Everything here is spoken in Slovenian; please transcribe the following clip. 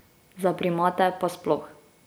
Za primate pa sploh.